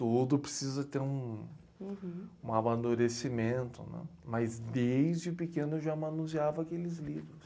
Tudo precisa ter um... Uhum... Um amadurecimento, né? Mas desde pequeno eu já manuseava aqueles livros.